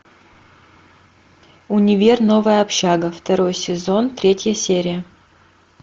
универ новая общага второй сезон третья серия